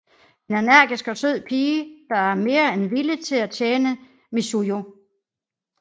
En energisk og sød pige der er mere end villig til at tjene Mizuho